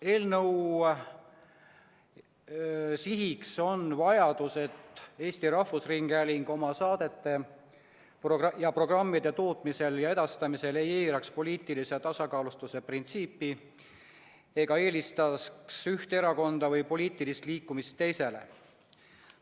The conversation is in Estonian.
Eelnõu sihiks on vajadus tagada, et Eesti Rahvusringhääling oma saadete ja programmide tootmisel ja edastamisel ei eiraks poliitilise tasakaalustatuse printsiipi ega eelistaks ühte erakonda või poliitilist liikumist teisele.